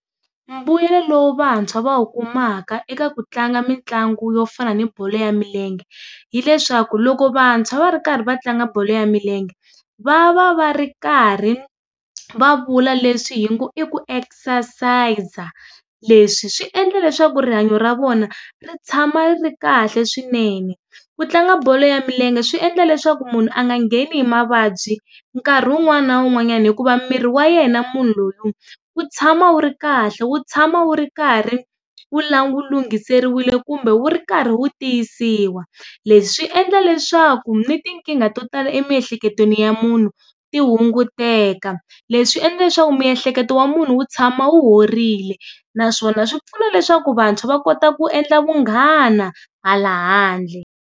Mbuyelo lowu vantshwa va wu kumaka eka ku tlanga mitlangu yo fana ni bolo ya milenge, hileswaku loko vantshwa va ri karhi va tlanga bolo ya milenge, va va va ri karhi va vula leswi hi ngo i ku exercise-a. Leswi swi endla leswaku rihanyo ra vona ri tshama ri ri kahle swinene. Ku tlanga bolo ya milenge swi endla leswaku munhu a nga ngheni hi mavabyi nkari wun'wana na wun'wanyani hikuva mirhi wa yena munhu loyi wu tshama wu ri kahle wu tshama wu karhi, wu wu lunghiseriwile kumbe wu karhi wu tiyisiwa. Leswi endla leswaku ni tinkingha to tala emiehleketweni ya munhu ti hunguteka. Leswi endle leswaku miehleketo ya munhu wu tshama wu horile, naswona swipfuna leswaku vantshwa va kota ku endla vanghana hala handle.